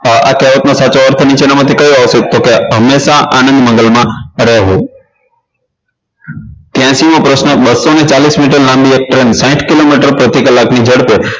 આ કહેવતનો સાચો અર્થ નીચેનામાંથી કયો આવશે તો હંમેશા આનંદ મંગલમાં રહેવું ત્યાશી મો પ્રશ્ન બસો ને ચાલીસ મીટર લાંબી એક train સાઇઠ કિલોમીટર પ્રતિ કલાકની ઝડપે